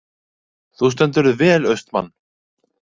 Þú stendur þig vel, Austmann!